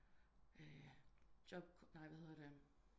Job nej hvad hedder det